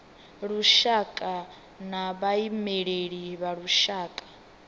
lushaka na vhaimeleli vha lushaka